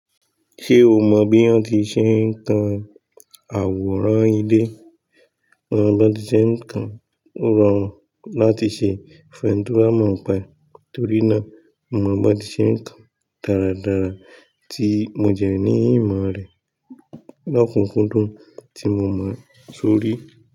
Ṣé o mọ̀ bí wón ti ṣe ń kan àwòrán ilé? Wón bá ti ṣe ń kan, ó rọ̀run láti ṣe fẹ̀ni to ba mọ̀ọ́pa e. Torí náà, mo mo bá ti ṣe ń kan dáradára tí mo jẹ́ ní ìmọ̀ rẹ̀ lọ́kùnkúndùn tí mo máa ṣorí.